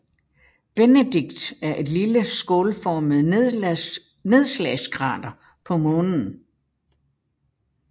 Benedict er et lille skålformet nedslagskrater på Månen